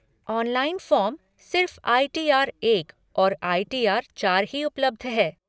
Online form, सिर्फ़ I T R एक और आइ टी आर चार ही उपलब्ध है।